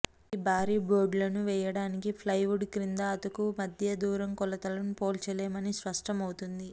ఇది భారీ బోర్డులను వెయ్యటానికి ప్లైవుడ్ క్రింద అతుకు మధ్య దూరం కొలతలు పోల్చలేము అని స్పష్టం అవుతుంది